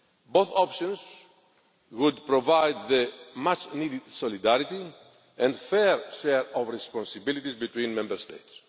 Both options would provide the much needed solidarity and fair sharing of responsibilities between Member States.